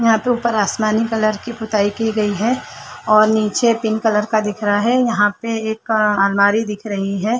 यहाँ तो ऊपर आसमानी कलर की पुताई की गयी है और नीचे पिंक कलर का दिख रहा है यहाँ पे एक आलमारी दिख रही है।